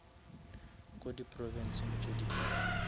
ko di provinsing tše dingwe